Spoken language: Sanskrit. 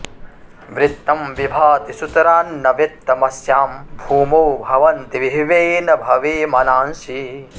वृत्तं विभाति सुतरान्न वित्तमस्यां भूमौ भवन्ति विभवेन भवे मनांसि